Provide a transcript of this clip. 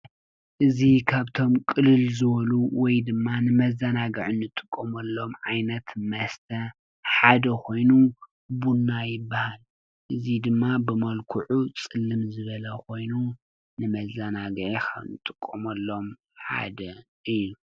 ቡና ከዓ ካብቶም ቅልል ዝበሉ ወይ ንመዘናግዒ ንጥቀመሎም ዓይነት መስተ ቡና ይበሃል። መልክዑ ከዓ ፀሊም እዩ።